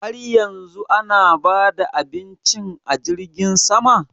Har yanzu ana ba da abincin a jirgin sama?